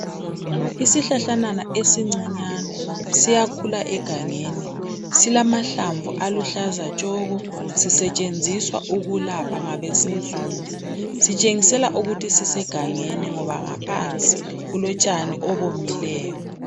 Isihlahlanyana esincinyane siyakhula egangeni silamahlamvu aluhlaza tshoko sisetshenziswa ukulapha ngabansundu sitshengisela ukuthi sisegangeni ngoba ngaphansi kulotshani obuwomileyo.